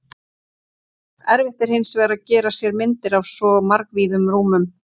Erfitt er hins vegar að gera sér myndir af svo margvíðum rúmum.